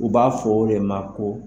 U b'a fɔ o de ma ko